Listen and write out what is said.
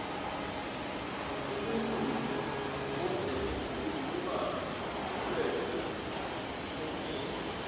umuntuu owondleke khulu uba nobulelwe obunengi